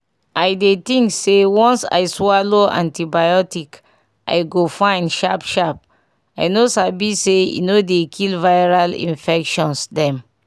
i dey think say once i swallow antibiotic i go fine sharp sharp i no sabi say e no dey kill viral minfections dem